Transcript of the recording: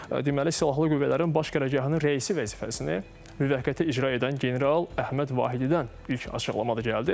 Deməli, Silahlı Qüvvələrin Baş qərargahının rəisi vəzifəsini müvəqqəti icra edən general Əhməd Vahididən ilk açıqlama da gəldi.